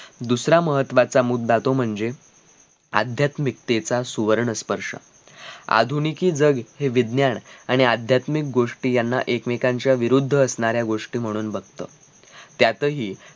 दुसरा महत्वाचा मुद्धा तो म्हणजे अध्यात्मिकतेचा सुवर्ण स्पर्श आधुनिकि जग हे विज्ञान आणि अध्यात्मिक गोष्टी यांना एकमेकांच्या विरुद्ध असणाऱ्या गोष्टी म्हणून बगत त्यातही